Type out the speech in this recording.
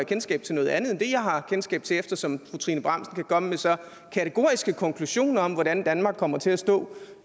kendskab til noget andet end det jeg har kendskab til eftersom fru trine bramsen kan komme med så kategoriske konklusioner om hvordan danmark kommer til at stå